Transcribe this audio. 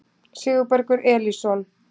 Sigurbergur Elísson